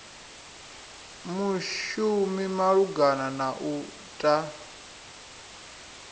mushumi malugana na u ta